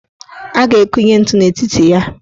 A ga-akunye ntu n' etiti ya.